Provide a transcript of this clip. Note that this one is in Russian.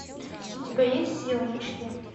у тебя есть сила мечты